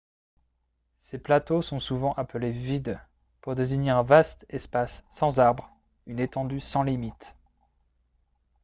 ces plateaux sont souvent appelés « vidde » pour désigner un vaste espace sans arbre une étendue sans limites